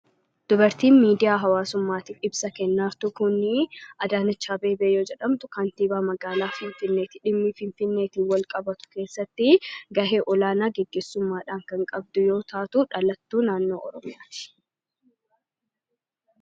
Dubartiin miidiyaa hawaasaatiif ibsa kennaa jirtu kun Adaanech Abeebee yoo jedhamtu kantiibaa magaalaa Finfinneeti. Dhimmi Finfinneetiin walqabatu keessatti gahee olaanaa gaggeessummaadhaan kan qabdu yoo taatu dhalattuu naannoo oromiyaati.